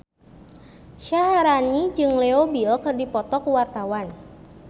Syaharani jeung Leo Bill keur dipoto ku wartawan